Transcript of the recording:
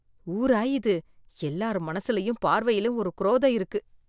ஊரா இது எல்லார் மனசுலயும் பார்வையிலும் ஒரு குரோதம் இருக்கு.